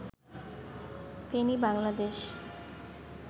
Feni Bangladesh